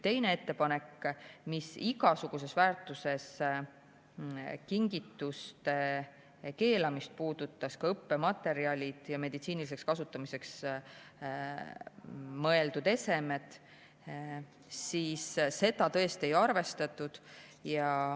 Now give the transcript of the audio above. Teine ettepanek, mis puudutas igasuguses väärtuses kingituste keelamist, ka õppematerjale ja meditsiiniliseks kasutamiseks mõeldud esemeid – seda tõesti ei arvestatud.